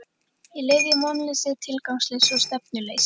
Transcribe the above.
Ég lifði í vonleysi, tilgangsleysi og stefnuleysi.